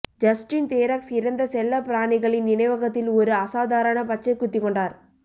Justin Theroux இறந்த செல்லப்பிராணிகளின் நினைவகத்தில் ஒரு அசாதாரண பச்சை குத்திக் கொண்டார்